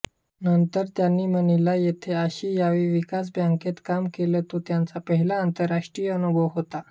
नंतर त्यांनी मनिला येथे आशियाई विकास बँकेत काम केले तो त्यांचा पहिला आंतरराष्ट्रीय अनुभव होता